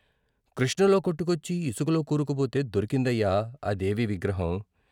కృష్ణలో కొట్టుకొచ్చి ఇసుకలో కూరుకుపోతే దొరి కిందయ్యా ఆ దేవి విగ్రహం.